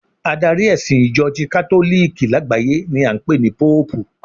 Adari ẹ̀sìn Ìjọ ti katoliki lágbàáyé ni a ń pè ní Póòpù